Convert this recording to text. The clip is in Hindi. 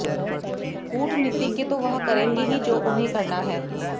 कूटनीतिज्ञ तो वह करेंगे ही जो उन्हें करना है